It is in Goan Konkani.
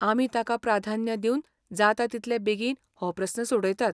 आमी ताका प्राधान्य दिवन जाता तितले बेगीन हो प्रस्न सोडयतात.